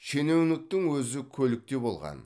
шенеуніктің өзі көлікте болған